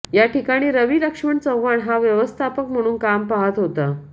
या ठिकाणी रवी लक्ष्मण चव्हाण हा व्यवस्थापक म्हणून काम पाहत होता